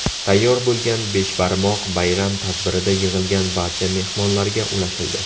Tayyor bo‘lgan beshbarmoq bayram tadbirida yig‘ilgan barcha mehmonlarga ulashildi.